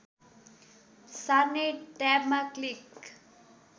सार्ने ट्याबमा क्लिक